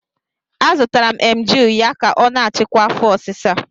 Azụtara m Emgyl ya ka ọ na-achịkwa afo osisa